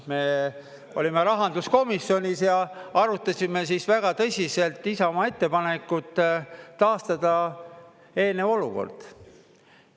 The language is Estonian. Me olime rahanduskomisjonis ja arutasime väga tõsiselt Isamaa ettepanekut taastada eelmine olukord.